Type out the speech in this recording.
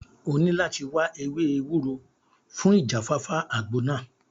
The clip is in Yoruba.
O ní láti wáá ewé ewúro fún ìjáfáfá àgbo náà